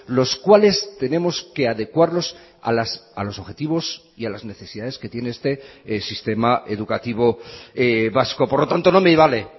los cuales tenemos que adecuarlos a los objetivos y a las necesidades que tiene este sistema educativo vasco por lo tanto no me vale